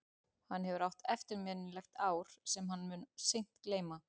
Hann hefur átt eftirminnilegt ár sem hann mun seint gleyma.